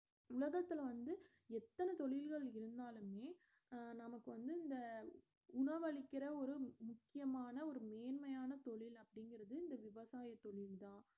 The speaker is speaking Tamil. உலகத்துல வந்து எத்தன தொழில்கள் இருந்தாலுமே அஹ் நமக்கு வந்து இந்த உணவளிக்கிற ஒரு முக்~ முக்கியமான ஒரு நேர்மையான தொழில் அப்பிடிங்கறது இந்த விவசாயத்தொழில் தான்